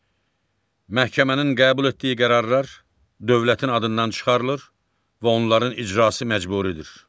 Məhkəmənin qəbul etdiyi qərarlar dövlətin adından çıxarılır və onların icrası məcburidir.